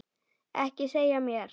Ekki segja mér